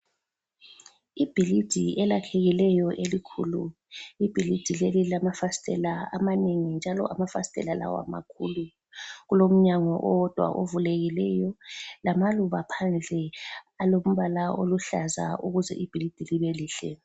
Ibhilidi elakhekileyo elikhulu. Ibhilidi leli lilamafasitela amanengi njalo amafasitela lawa makhulu. Kulomnyango owodwa ovulekileyo lamaluba phandle alombala oluhlaza ukuze ibhilidi libe lihle.